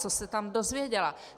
Co se tam dozvěděla?